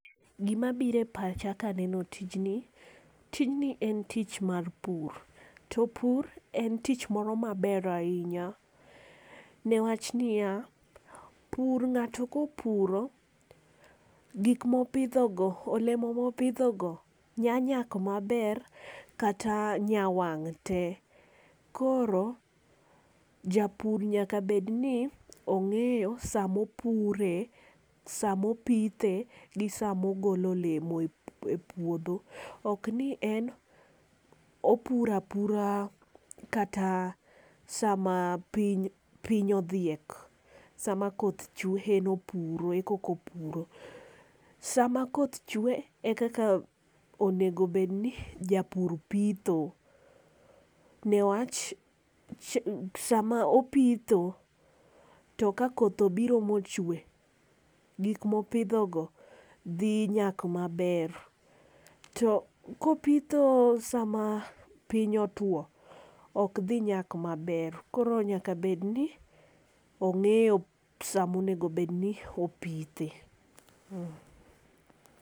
Gi ma biro e pacha ka neno tijni. Tijni en tich mar pur to tijni en tich moro ma ber ainya ne wach ni ya, pur ngato ko opuro gik mo opidho go, olemo ma opidho go nya nyak ma ber kata nya wang' te. Koro japur nyaka bed ni ong'eyo saa ma opure, saa ma opithe , gi saa ma ogolo olemo e pudho. Ok ni en opuro apura kata saa ma piny piny odhiek saa ma koth chwe koka opuro. Saa ma koth chwe e kaka onego bed ni japur pitho ne wach sa ma opitho to ka koth obiro ma ochwe gik ma opidho go dhi nyak ma ber. To ko opitho saa ma piny otwo ok dhi nyak ma ber koro nyaka obed ni ong'eyo saa ma onego bed ni opithe.